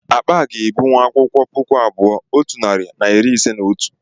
Akpa a ga-ebuwu akwụkwọ puku abụọ otu narị na iri ise na otu